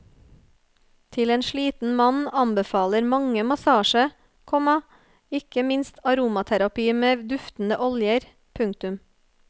Til en sliten mann anbefaler mange massasje, komma ikke minst aromaterapi med duftende oljer. punktum